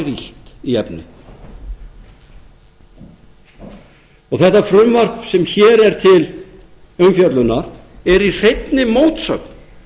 illt í efni þetta frumvarp sem hér er til umfjöllunar er í hreinni mótsögn